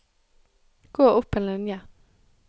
Gå opp en linje